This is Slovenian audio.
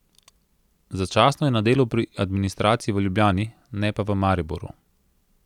Začasno je na delu pri administraciji v Ljubljani, ne pa v Mariboru.